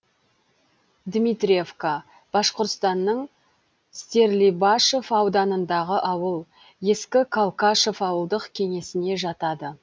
дмитриевка башқұртстанның стерлибашев ауданындағы ауыл ескі калкашев ауылдық кеңесіне жатады